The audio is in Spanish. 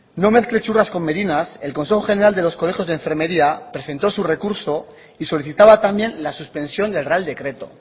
no mezcle churras con merinas el consejo general de los colegios de enfermería presentó su recurso y solicitaba también la suspensión del real decreto